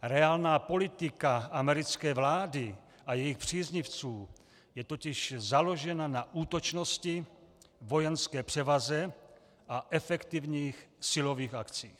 Reálná politika americké vlády a jejích příznivců je totiž založena na útočnosti, vojenské převaze a efektivních silových akcích.